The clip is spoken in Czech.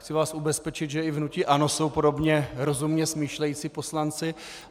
Chci vás ubezpečit, že i v hnutí ANO jsou podobně rozumně smýšlející poslanci.